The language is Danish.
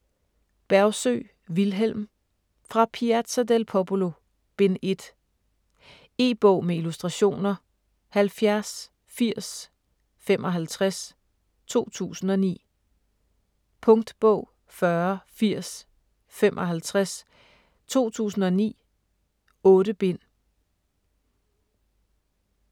Bergsøe, Vilhelm: Fra Piazza del Popolo: Bind 1 E-bog med illustrationer 708055 2009. Punktbog 408055 2009. 8 bind.